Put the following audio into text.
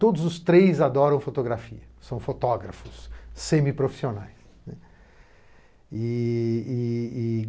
Todos os três adoram fotografia, são fotógrafos semiprofissionais. E e e